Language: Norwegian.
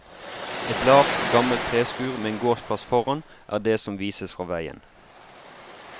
Et lavt, gammelt treskur med en gårdsplass foran er det som vises fra veien.